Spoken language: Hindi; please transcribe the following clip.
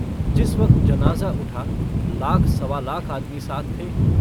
जिस वक्त जनाज़ा उठा, लाख-सवा लाख आदमी साथ थे।